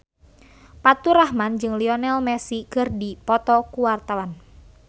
Faturrahman jeung Lionel Messi keur dipoto ku wartawan